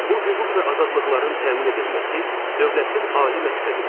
Bu hüquq və azadlıqların təmin edilməsi dövlətin ali məqsədidir.